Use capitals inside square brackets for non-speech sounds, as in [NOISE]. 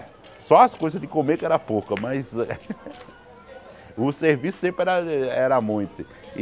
Só as coisas de comer que era pouca, mas... [LAUGHS] O serviço sempre era eh era muito.